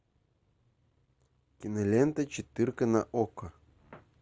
кинолента четырка на окко